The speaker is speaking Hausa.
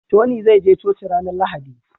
Tony zai je coci ranar lahadi